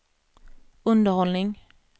underhållning